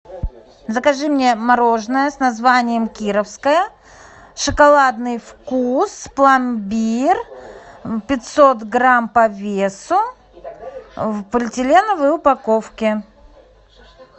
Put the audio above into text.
закажи мне мороженое с названием кировское шоколадный вкус пломбир пятьсот грамм по весу в полиэтиленовой упаковке